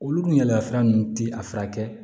Olu yaalayaala nunnu ti a furakɛ